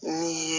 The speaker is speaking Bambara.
Ni